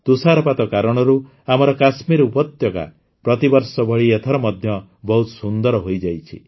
ତୁଷାରପାତ କାରଣରୁ ଆମର କାଶ୍ମୀର ଉପତ୍ୟକା ପ୍ରତିବର୍ଷ ଭଳି ଏଥର ମଧ୍ୟ ବହୁତ ସୁନ୍ଦର ହୋଇଯାଇଛି